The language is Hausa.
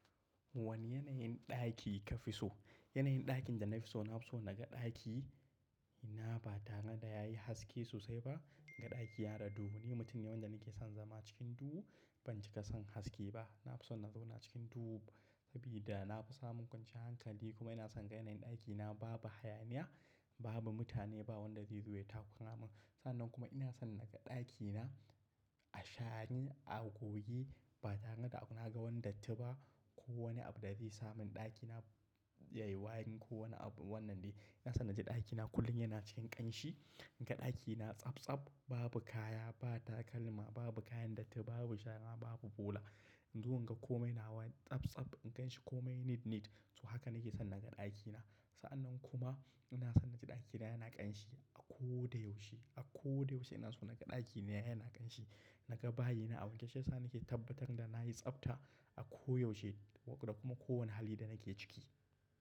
Wane yanayin ɗaki ka fi so? Yanayin ɗakin da na fi so, na fi so naga ɗaki ina ba tare da yayi haske sosai ba, inga ɗaki yana da duhu. Ni mutum ne wanda nake son zama cikin duhu, ban cika son haske ba. Na fi son na zauna cikin duhu sabida na fi samun kwanciyar hankali kuma ina son ga yanayin ɗakina babu hayaniya, babu mutane, ba wanda zai zuwa ya takura mun. Sa'annan kuma ina son naga ɗakina a share a goge, ba tare da naga wani datti ba ko wani abu da zai sa mun ɗakina yayi wari ko wani abu wannan dai. Ina son naji ɗakina kullum yana cikin ƙanshi. Inga ɗakina tsabtsab, babu kaya, ba takalma, babu kayan datta, babu shara, babu bola. Inzo inga komai nawa tsabtsab, inganshi komai nit nit. To haka nake son naga ɗakina. Sa'annan kuma ina son naji ɗakina yana ƙanshi a ko da yaushe. A ko da yaushe ina so naga ɗakina yana ƙanshi. Naga bayin a wanke, shiyasa nake tabbatar da nayi tsabta a ko yaushe waƙa da kuma kowane hali da nake ciki.